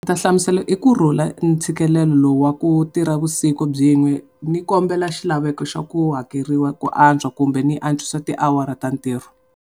Ni ta hlamusela hi kurhula ntshikelelo lowu wa ku tirha vusiku byin'we, ni kombela xilaveko xa ku hakeriwa ku antswa kumbe ni antswisa tiawara ta ntirho.